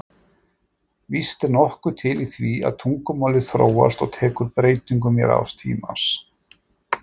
Víst er nokkuð til í því að tungumálið þróast og tekur breytingum í rás tímans.